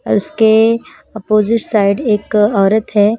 और उसके opposite side एक औरत है।